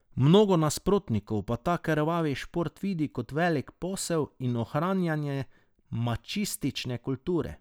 Mnogo nasprotnikov pa ta krvavi šport vidi kot velik posel in ohranjevanje mačistične kulture.